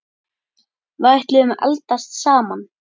Við ætluðum að eldast saman.